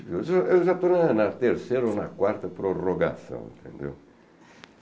Eu já eu já estou na terceira ou na quarta prorrogação, entendeu?